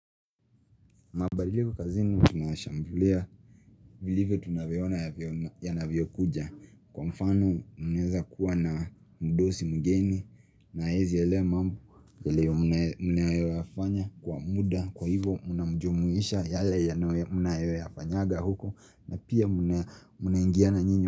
Mabadiliko kazini tunayashambulia, vile tunavyoona yanavyokuja Kwa mfano mnaweza kuwa na mdosi mgeni na hawezi elewa mambo, yale mnayoyafanya kwa muda Kwa hivo mnamjumuisha yale mnayoyafanyaga huku na pia mnaingiana nyinyi.